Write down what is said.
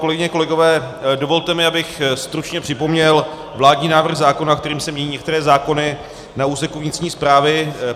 Kolegyně, kolegové, dovolte mi, abych stručně připomněl vládní návrh zákona, kterým se mění některé zákony na úseku vnitřní správy.